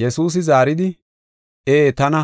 Yesuusi zaaridi, “Ee tana,